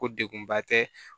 Ko degunba tɛ